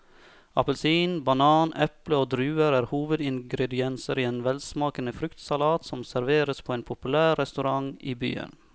Appelsin, banan, eple og druer er hovedingredienser i en velsmakende fruktsalat som serveres på en populær restaurant i byen.